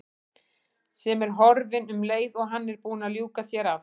Sem er horfin um leið og hann er búinn að ljúka sér af.